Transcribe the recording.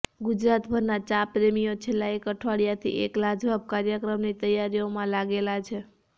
ગુજરાત ભરના ચા પ્રેમીઓ છેલ્લા એક અઠવાડીયાથી એક લાજવાબ કાર્યક્રમની તૈયારીઓમાં લાગેલા છે